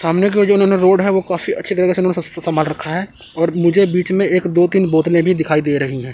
सामने के जो ओने रोड है वह काफी अच्छी तरीके से संभाल रखा है और मुझे बीच में एक दो तीन बोतल भी दिखाई दे रही है।